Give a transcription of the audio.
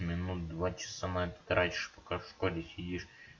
минут два часа на это тратишь пока в школе сидишь